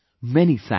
Many thanks